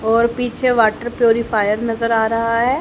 और पीछे water purifier नजर आ रहा है।